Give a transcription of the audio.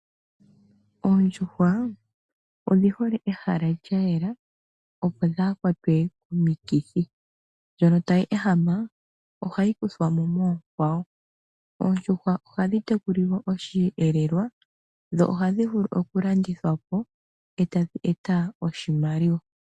Oondjuhwa odhi hole pehala lya yela opo wudhikelele komiikithi. Dhoka tadhi ehama ohadhi kuthwa mo kokwawo .Oondjuhwa ohadhi tekulilwa oshiyelelwa ohadhi vulu woo okulandithwa tadhi eta po iimaliwa.